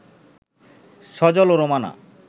সজল ও রোমানা